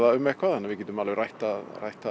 um eitthvað þannig að við getum alveg rætt það rætt það